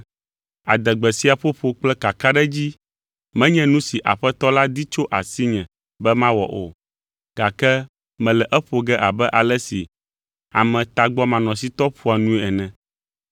Adegbe sia ƒoƒo kple kakaɖedzi menye nu si Aƒetɔ la di tso asinye be mawɔ o, gake mele eƒo ge abe ale si ame tagbɔmanɔsitɔ ƒoa nue ene.